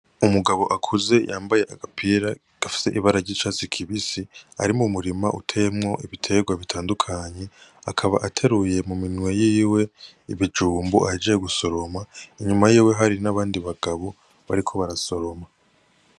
Umugabo akuze yambaye agapira gafise ibara ry'icatsi kibisi ari mu murima uteyemwo ibiterwa bitandukanye akaba ateruye mu minwe yiwe ibijumbu ahejeje gusoroma inyuma yiwe hari n'abandi bagabo bariko barasoroma.